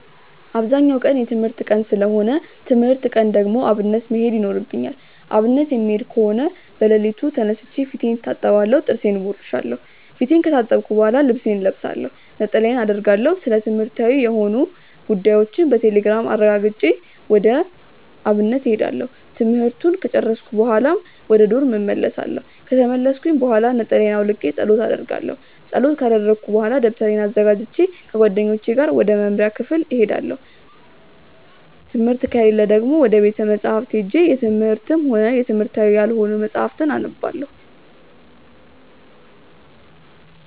አብዛኛው ቀን የትምህርት ቀን ሰለሆነ ትምህርት ቀን ከሆነ ደግሞ አብነት መሄድ ይኖርብኛል። አብነት የምሄድ ከሆነ በለሊቱ ተነስቼ ፊቴን እታጠባለሁ ጥርሴን እቦርሻለው። ፊቴን ከታጠብኩ በሆላ ልብሴን እለብሳለሁ፣ ነጠላዬን አረጋለሁ፣ ስለትምህርትዊ የሆኑ ጉዳዮችን ቴሌግራም ላይ አረጋግጬ ወደ አብነት እሄዳለሁ። ትምህርቱን ከጨርስኩኝ በሆላ ወደ ዶርም እመልሳለው። ከተመለስኩኝ ብሆላ ነጠላየን አውልቄ ፀሎት አረጋለው። ፀሎት ከረኩኝ በሆላ ደብተሬን አዘጋጅቼ ከጓደኞቼ ጋር ወደ መምሪያ ክፍል እሄዳለው። ትምህርት ከሌለ ደግሞ ወደ ቤተ መፅሀፍት ሄጄ የትምህርትም ሆነ የትምህርታዊ ያልሆኑ መፅሀፍትን አነባለው።